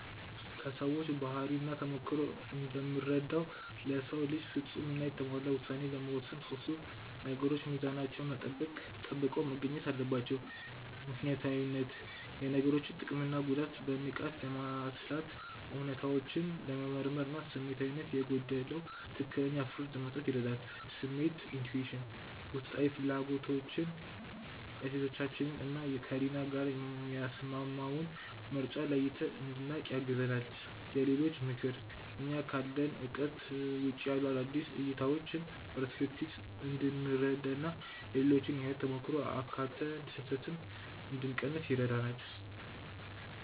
ከሰዎች ባህሪና ተሞክሮ እንደምረዳው፣ ለሰው ልጅ ፍጹም እና የተሟላ ውሳኔ ለመወሰን ሶስቱም ነገሮች ሚዛናቸውን ጠብቀው መገኘት አለባቸው፦ ምክንያታዊነት፦ የነገሮችን ጥቅምና ጉዳት በንቃት ለማስላት፣ እውነታዎችን ለመመርመር እና ስሜታዊነት የጎደለው ትክክለኛ ፍርድ ለመስጠት ይረዳል። ስሜት (Intuition)፦ ውስጣዊ ፍላጎታችንን፣ እሴቶቻችንን እና ከህሊናችን ጋር የሚስማማውን ምርጫ ለይተን እንድናውቅ ያግዘናል። የሌሎች ምክር፦ እኛ ካለን እውቀት ውጪ ያሉ አዳዲስ እይታዎችን (Perspectives) እንድንረዳ እና የሌሎችን የህይወት ተሞክሮ አካትተን ስህተትን እንድንቀንስ ያደርገናል።